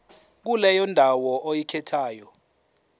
kuleyo ndawo oyikhethayo